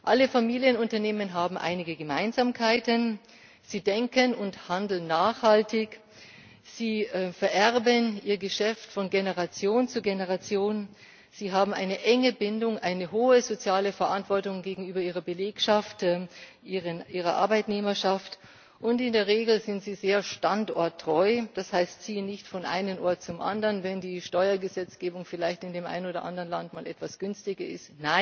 Alle Familienunternehmen haben einige Gemeinsamkeiten Sie denken und handeln nachhaltig, sie vererben ihr Geschäft von Generation zu Generation, sie haben eine enge Bindung, eine hohe soziale Verantwortung gegenüber ihrer Belegschaft, ihrer Arbeitnehmerschaft, und in der Regel sind sie sehr standorttreu. Das heißt, sie ziehen nicht von einem Ort zum anderen, wenn die Steuergesetzgebung vielleicht in dem einen oder anderen Land mal etwas günstiger ist.